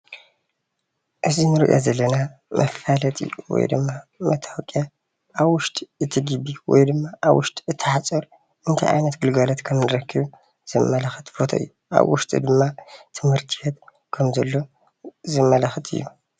እዚ እንሪኦ ዘለና መፋለጢ ወይ ደማ መታወቅያ ኣብ ዉሽጢ እቲ ግቢ ወይ ድማ ኣብ ዉሽጢ እቲ ሓፁር እንታይ ዓይነት ግልጋሎት ከምንረከብ ዘመላኽት ፎቶ እዩ። ኣብ ዉሽጢ ድማ ትምህርቲ ቤት ከም ዘሎ ዘመላክት እዩ።